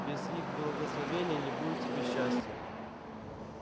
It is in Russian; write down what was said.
без их благословения не будет тебе счастья